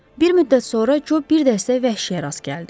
Bir müddət sonra Co bir dəstə vəhşiyə rast gəldi.